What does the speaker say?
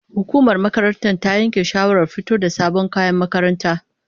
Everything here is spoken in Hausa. Hukumar makarantar ta yanke shawarar fito da sabon kayan makaranta.